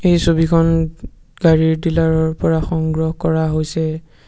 এ ছবিখন গাড়ীৰ ডিলাৰ ৰ পৰা সংগ্ৰহ কৰা হৈছে।